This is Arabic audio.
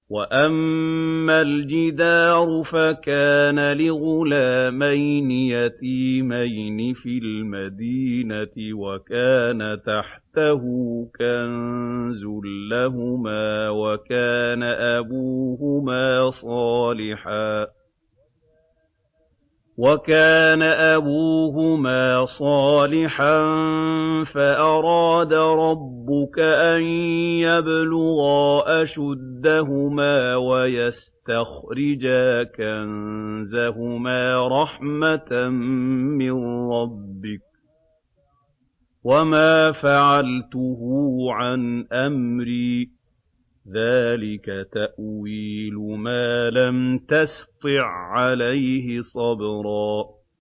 وَأَمَّا الْجِدَارُ فَكَانَ لِغُلَامَيْنِ يَتِيمَيْنِ فِي الْمَدِينَةِ وَكَانَ تَحْتَهُ كَنزٌ لَّهُمَا وَكَانَ أَبُوهُمَا صَالِحًا فَأَرَادَ رَبُّكَ أَن يَبْلُغَا أَشُدَّهُمَا وَيَسْتَخْرِجَا كَنزَهُمَا رَحْمَةً مِّن رَّبِّكَ ۚ وَمَا فَعَلْتُهُ عَنْ أَمْرِي ۚ ذَٰلِكَ تَأْوِيلُ مَا لَمْ تَسْطِع عَّلَيْهِ صَبْرًا